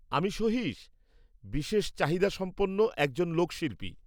আমি সহিশ, বিশেষ চাহিদাসম্পন্ন একজন লোক শিল্পী।